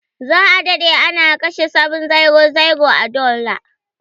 Za a dade ana kashe 700 a dollar.